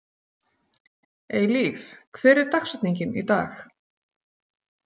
Eilíf, hver er dagsetningin í dag?